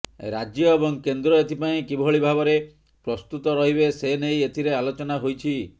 ରାଜ୍ୟ ଏବଂ କେନ୍ଦ୍ର ଏଥିପାଇଁ କିଭଳି ଭାବରେ ପ୍ରସ୍ତୁତ ରହିବେ ସେନେଇ ଏଥିରେ ଆଲୋଚନା ହୋଇଛି